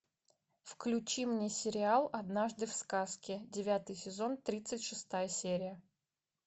включи мне сериал однажды в сказке девятый сезон тридцать шестая серия